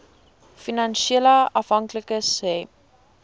finansiële afhanklikes hê